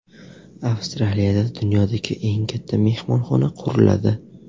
Avstraliyada dunyodagi eng katta mehmonxona quriladi.